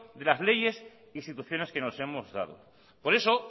de las leyes e instituciones que nos hemos dado por eso